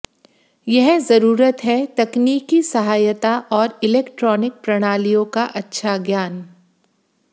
यह जरूरत है तकनीकी सहायता और इलेक्ट्रॉनिक प्रणालियों का अच्छा ज्ञान